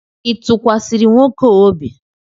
ị tụkwasịrị nwoke a obi?